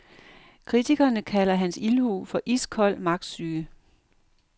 Kritikerne kalder hans ildhu for iskold magtsyge.